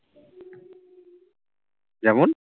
যেমন